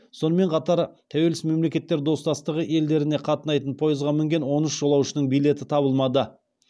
сонымен қатар тәуелсіз мемлекеттер достастығы елдеріне қатынайтын пойызға мінген он үш жолаушының билеті табылмады